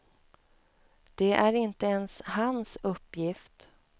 Det är inte ens hans uppgift.